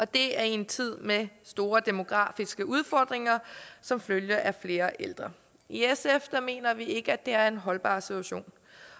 det er i en tid med store demografiske udfordringer som følge af flere ældre i sf mener vi ikke det er en holdbar situation